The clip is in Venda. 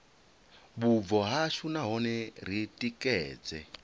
vhubvo hashu nahone ri tikedze